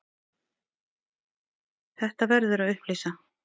Þetta verður að upplýsa.